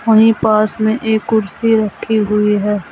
वही पास में एक कुर्सी रखी हुई।